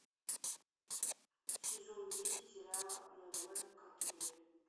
сезон десять сериала нодамэ кантабиле